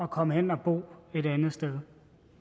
komme hen at bo et andet sted